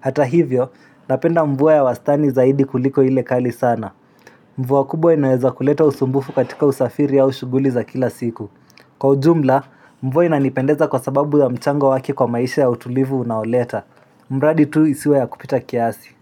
Hata hivyo, napenda mvua ya wastani zaidi kuliko ile kali sana Mvua kubwa inaweza kuleta usumbufu katika usafiri au shughuli za kila siku Kwa ujumla, mvua inanipendeza kwa sababu ya mchango wake kwa maisha ya utulivu unaoleta mradi tu isiwe ya kupita kiasi.